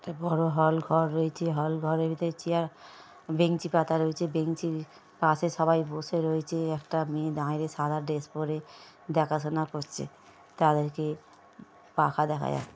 একটা বড়ো হল রয়েছে হল ঘরের ভেতরে চেয়ার বেঞ্চি পাতা রয়েছে বেঞ্চির পাশে সবাই বসে রয়েছে একটা মেয়ে দাঁড়িয়ে সাদা ড্রেস পরে দেখাশোনা করছে তাদেরকে পাকা দেখা--